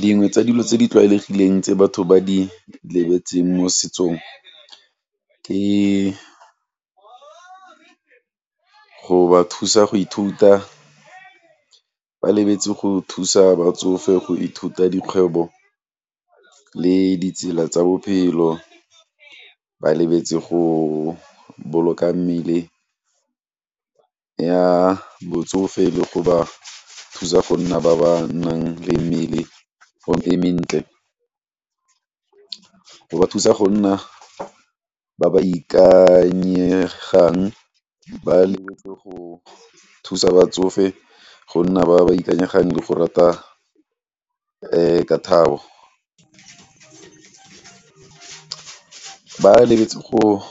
Dingwe tsa dilo tse di tlwaelegileng tse batho ba di lebetseng mo setsong ke go ba thusa go ithuta, ba lebetse go thusa batsofe go ithuta dikgwebo le ditsela tsa bophelo, ba lebetse go boloka mmele ya botsofe le go ba thusa go nna ba ba nang le mmele e mentle, go ba thusa go nna ba ba ikanyegang ba lebetse go thusa batsofe go nna ba ba ikanyegang le go rata ka ba lebetse go,